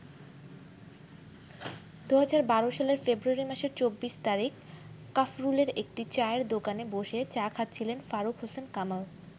২০১২ সালের ফেব্রুয়ারি মাসের ২৪ তারিখ কাফরুলের একটি চায়ের দোকানে বসে চা খাচ্ছিলেন ফারুক হোসেন কামাল।